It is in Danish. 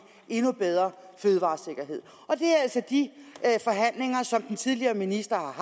endnu bedre fødevaresikkerhed det er altså de forhandlinger som den tidligere minister har